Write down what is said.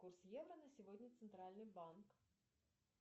курс евро на сегодня центральный банк